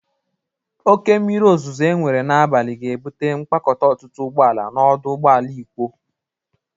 Oke mmiri ozụzụ enwere n'abalị ga-ebụte mkpakọta ọtụtụ ụgbọ ala n'ọdụ ụgbọ ala Ikwo.